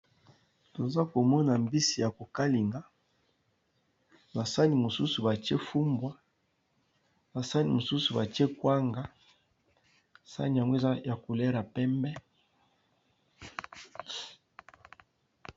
Toza komona mbisi ya kokalinga na sani mosusu batie fumbwa na sani mosusu batie kwanga sani ya mweza ya kolela pembe.